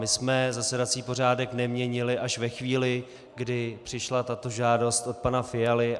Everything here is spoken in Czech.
My jsme zasedací pořádek neměnili, až ve chvíli, kdy přišla tato žádost od pana Fialy.